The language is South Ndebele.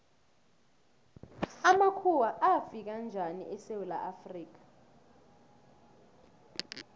amakhuwa afika njani esewula afrika